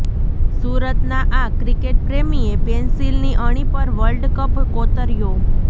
સુરતના આ ક્રિકેટ પ્રેમીએ પેન્સિલની અણી પર વર્લ્ડકપ કોતર્યો